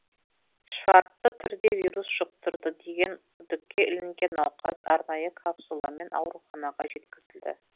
шартты түрде вирус жұқтырды деген күдікке ілінген науқас арнайы капсуламен ауруханаға жеткізілді